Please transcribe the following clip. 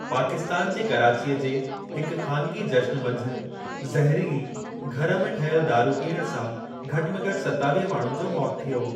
पाकिस्तान जे कराचीअ जे हिक ख़ानिगी जश्न मंझि ज़हरीली, घर में ठहियल दारूं पीअण सां घटि में घटि सतावीह माण्हुनि जो मौति थियो।